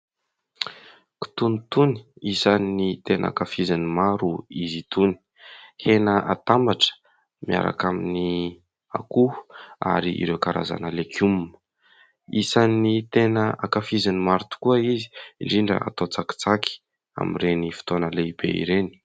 Kitonontono, isan 'ny tena hankafizin'ny maro izy itony, hena hatambatra miaraka amin'ny akoho ary ireo karazana legioma. Isan'ny tena hankafizin'ny maro tokoa izy indrindra atao tsakitsaky amin'ireny fotoana lehibe ireny.